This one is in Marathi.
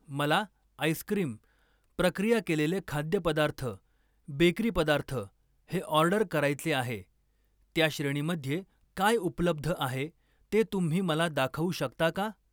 मला आईस्क्रीम, प्रक्रिया केलेले खाद्यपदार्थ, बेकरी पदार्थ हे ऑर्डर करायचे आहे, त्या श्रेणीमध्ये काय उपलब्ध आहे ते तुम्ही मला दाखवू शकता का?